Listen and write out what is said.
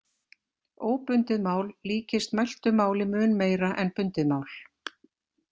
Óbundið mál líkist mæltu máli mun meira en bundið mál.